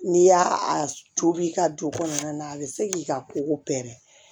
N'i y'a tobi i ka don kɔnɔna na a bɛ se k'i ka koko pɛrɛ